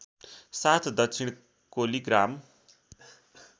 साथ दक्षिण कोलिग्राम